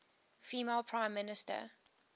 female prime minister